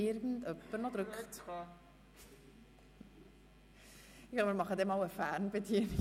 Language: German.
Vielleicht installieren wir einmal eine Fernbedienung.